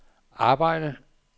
arbejde